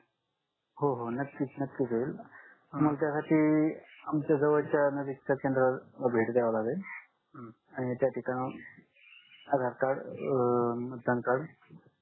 हो हो नक्कीच नक्कीच होईल तुम्हाला त्या साठी आमच्या जवडच्या नजीकच्या केंद्रावर द्याव लागेल आणि त्या ठिकाणावरून आधार कार्ड अं PAN कार्ड